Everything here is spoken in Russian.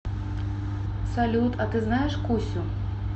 салют а ты знаешь кусю